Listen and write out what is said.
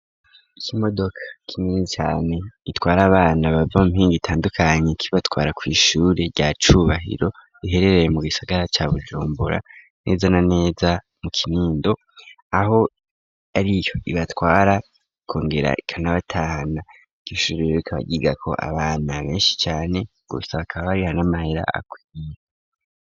Ikimodoka kineni cane gitwara abana bava mpingi gitandukanye kibatwara kw'ishure rya cubahiro iherereye mu gisagara ca bujumbura neza na neza mu kinindo aho ari yo ibatwara ko ngera ikanabatahana ikishuriwekabagigako abana benshi cane gusaakabariha n'amahera akwiye.